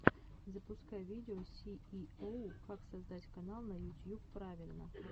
запускай видео сииоу как создать канал на ютьюб правильно